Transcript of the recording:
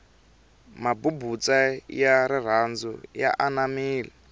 mabubutsa ya rirhandu ya anamile